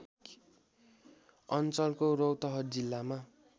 अञ्चलको रौतहट जिल्लामा